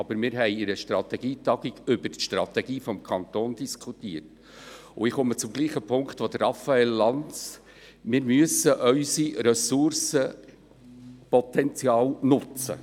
Aber wir haben in einer Strategietagung über die Strategie des Kantons diskutiert, und ich komme zum gleichen Punkt wie Raphael Lanz: Wir müssen unser Ressourcenpotenzial nutzen.